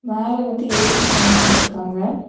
மேல வந்து ஏ_சியும் கனெக்ட் பண்ணிருக்காங்க.